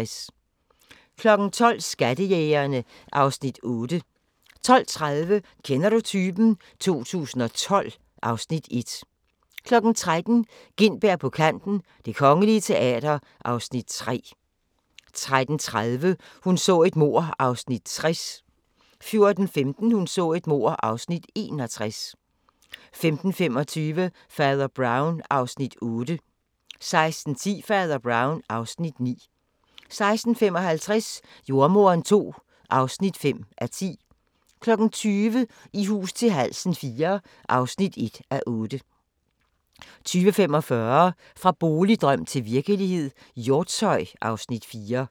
12:00: Skattejægerne (Afs. 8) 12:30: Kender du typen? 2012 (Afs. 1) 13:00: Gintberg på kanten - Det Kongelige Teater (Afs. 4) 13:30: Hun så et mord (60:268) 14:15: Hun så et mord (61:268) 15:25: Fader Brown (Afs. 8) 16:10: Fader Brown (Afs. 9) 16:55: Jordemoderen II (5:10) 20:00: I hus til halsen IV (1:8) 20:45: Fra boligdrøm til virkelighed – Hjortshøj (Afs. 4)